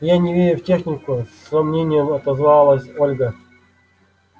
я не верю в технику с сомнением отозвалась ольга